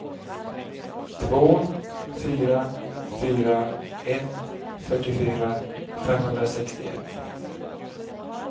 två fyra fyra ett fyrtiofyra femhundrasextioett